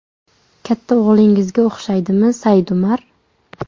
Katta o‘g‘lingizga o‘xshaydimi Saidumar?